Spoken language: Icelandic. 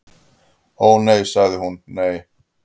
"""Ó, nei sagði hún, nei."""